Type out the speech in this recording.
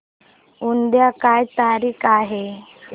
उद्या काय तारीख आहे